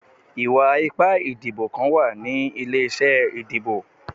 Iwa-ipa idibo kan wa ni ile-iṣẹ idibo